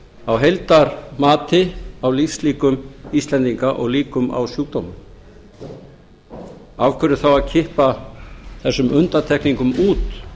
á heildarmati á lífslíkum íslendinga og líkum á sjúkdómum af hverju þá að kippa þessum undantekningum út